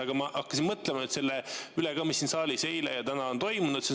Aga ma hakkasin mõtlema selle üle, mis siin saalis eile ja täna on toimunud.